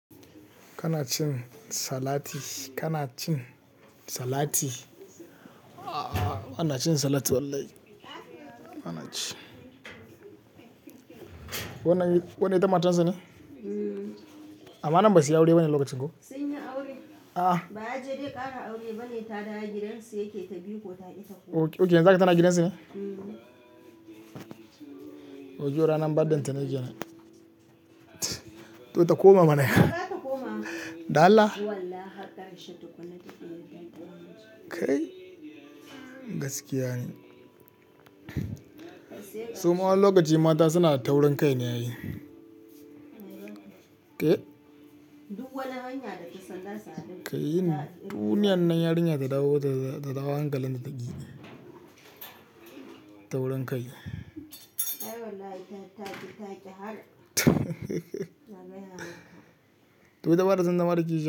Kana cin salati, kana cin salati. Aah! Bana cin salati wallahi. Bana ci. Wannan, wannan ita matan sane? Amma nan ba suyi aure ba ne lokacin ko? Sun yi aure. A'a. Ba aje dai ƙara aure ba ne, ta da giransa yake ta biko ko ta ki ta koma. Ok, yanzu haka tana gidan su ne? Mm. To jiya rana badda ita na gida na. To ta koma mana. Ta koma. Dala? Wallahi har ƙarshe takuna taƙu yadda an faɗa miki. Kai? Gaskiya ne. Su ma wani lokaci mata suna taurin kai ne ai Ke? Duk wani hanya da ta san zasu hadu Kai ne, duniyan nan yarinya tadawo ta dawo hankalinta da ta gini. Taurin kai. Ai wallahi ta taki taƙi har. To ita bata san zama kishiya.